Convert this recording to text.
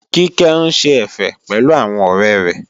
Kíkẹ́ ń ṣe ẹ̀fẹ̀ pẹ̀lú àwọn ọ̀rẹ́ rẹ̀